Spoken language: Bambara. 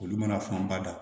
Olu mana fanba da